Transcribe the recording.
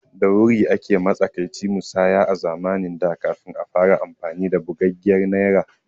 Da Wuri ake matsakaici musaya a zamanin da kafin a fara amfani da bugaggiyar Naira